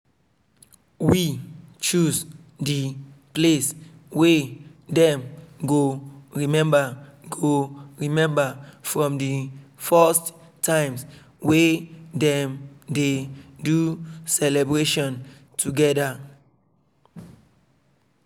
we choose the place wey dem go remember go remember from the first times wey dem dey do celebration together